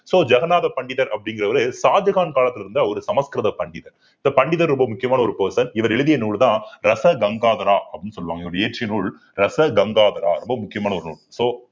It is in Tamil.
so ஜகநாத பண்டிதர் அப்படிங்கறவரு ஷாஜகான் காலத்துல இருந்த ஒரு சமஸ்கிருத பண்டிதர் sir பண்டிதர் ரொம்ப முக்கியமான ஒரு இவர் எழுதிய நூல்தான் ரசகங்காத்ரா அப்படின்னு சொல்லுவாங்க இவர் இயற்றிய நூல் ரசகங்காத்ரா ரொம்ப முக்கியமான ஒரு நூல் so